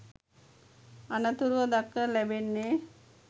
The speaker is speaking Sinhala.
අනතුරුව දක්නට ලැබෙන්නේ